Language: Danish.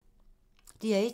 DR1